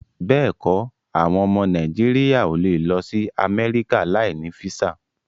Béèkọ, àwọn ọmọ Nàìjíríà o lè lọ sí Amẹ́ríkà láì ní físà